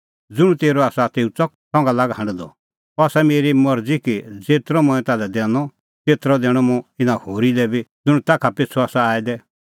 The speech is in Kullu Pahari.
ज़ुंण तेरअ आसा तेऊ च़क संघा लाग हांढदअ अह आसा मेरी मरज़ी कि ज़ेतरअ मंऐं ताल्है दैनअ तेतरअ दैणअ मुंह इना होरी लै बी ज़ुंण ताखा पिछ़ू आसा आऐ दै